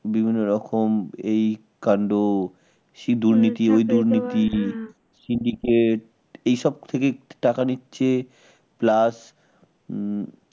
বিভিন্ন রকম এই কাণ্ড এই দুর্নীতি সেই দুর্নীতি সিন্ডিকেট এইসব থেকেই টাকা নিচ্ছে plus হম